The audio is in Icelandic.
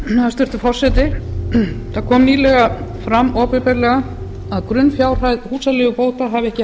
hæstvirtur forseti það kom nýlega fram opinberlega að grunnfjárhæð húsaleigubóta hafi ekki